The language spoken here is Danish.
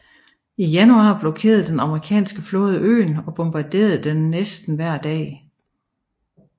Fra januar blokerede den amerikanske flåde øen og bombarderede den næsten hver dag